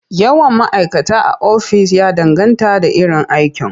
Yawan ma'kata a ofis ya danganta da iron aiki..